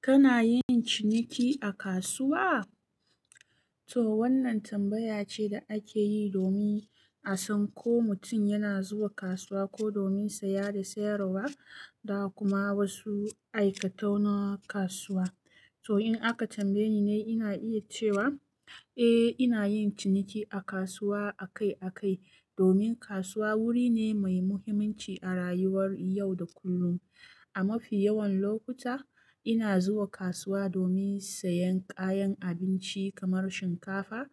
Kana yin ciniki a kasuwa? To wannan tambaya ce da ake yi domin a san ko mutum yana zuwa kasuwa ko domin saye da sayarwa, da kuma wasu aikatau na kasuwa. To in aka tambaye ni ni ina iya cewa, eh ina yin ciniki a kasuwa akai akai. Domin kasuwa wuri ne mai muhimmanci a rayuwar yau da kullum. A mafi yawan lokuta ina zuwa kasuwa domin sayan kayan abinci kamar shinkafa,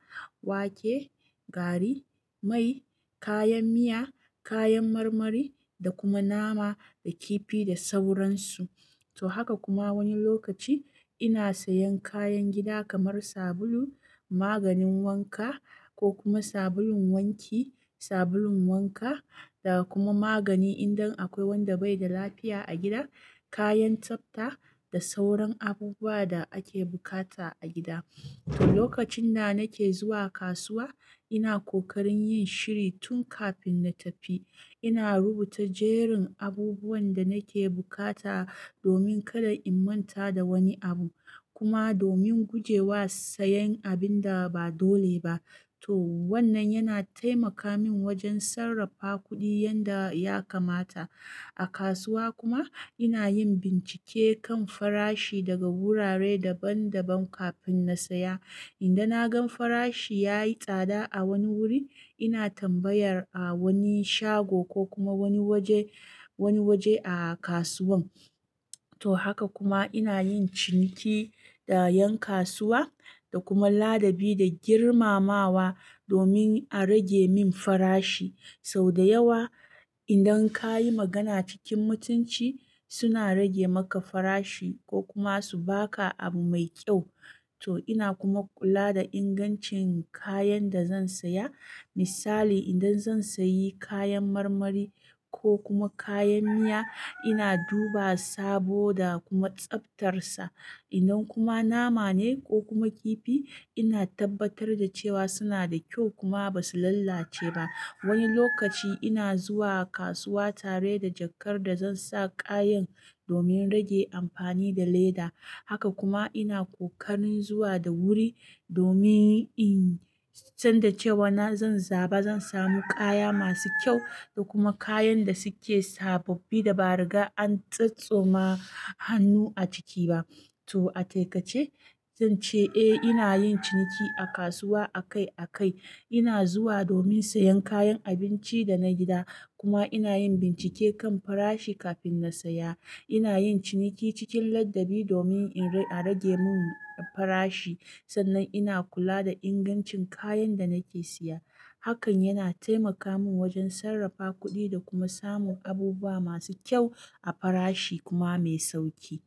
wake, gari, mai, kayan miya, kayan marmari, da kuma nama da kifi da sauransu. To haka kuma wani lokaci ina sayan kayan gida kamar sabulu, maganin wanka ko kuma sabulun wanki, sabulun wanka, da kuma magani idan akwai wanda bai da lafiya a gida, kayan tsafta da sauran abubuwa da ake bukata a gida. Lokacin da nake zuwa kasuwa ina kokarin yin shiri tun kafin na tafi. Ina rubuta jerin abubuwan da nake bukata domin kada in manta da wani abu kuma domin gujewa sayan abin da ba dole ba. To wannan yana taimaka min wajen sarrafa kuɗi yanda ya kamata. A kasuwa kuma ina yin bincike kan farashi daga wurare daban daban kafin na saya. Inda na gan farashi ya yi tsada a wani wuri ina tambayar a wani shago ko kuma wani waje, wani waje a kasuwan. To haka kuma ina yin ciniki da 'yan kasuwa da kuma ladabi da girmamawa domin a rage min farashi. Sau da yawa idan ka yi magana cikin mutunci suna rage maka farashi ko kuma su ba ka abu mai kyau. To ina kuma kula da ingancin kayan da zan saya. Misali idan zan sayi kayan marmari ko kuma kayan miya ina duba sabo da kuma tsaftarsa. Idan kuma nama ne ko kuma kifi ina tabbatar da cewa suna da kyau kuma ba su lalace ba. Wani lokaci ina zuwa kasuwa tare da jakar da zan sa kayan domin rage amfani da leda. Haka kuma ina kokarin zuwa da wuri domin in san da cewa na zan zaba zan samu kaya masu kyau da kuma kayan da suke sababbi da ba riga an tsotsoma hannu a ciki ba. To a taƙaice zan ce eh ina yin ciniki a kasuwa akai akai. Ina zuwa domin sayan kayan abinci da na gida kuma ina yin bincike kan farashi kafin na saya. Ina yin ciniki cikin ladabi domin a rage min farashi. Sannan ina kula da ingancin kayan da nake siya. Hakan yana taimaka min wajen sarrafa kuɗi da kuma samun abubuwa masu kyau a farashi kuma mai sauƙi.